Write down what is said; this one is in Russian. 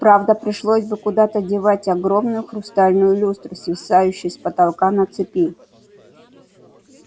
правда пришлось бы куда-то девать огромную хрустальную люстру свисающую с потолка на цепи